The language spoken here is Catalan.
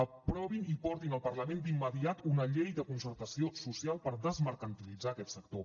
aprovin i portin al parlament d’immediat una llei de concertació social per desmercantilitzar aquest sector